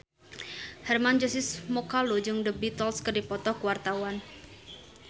Hermann Josis Mokalu jeung The Beatles keur dipoto ku wartawan